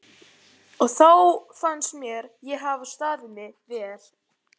og þá fannst mér ég hafa staðið mig vel.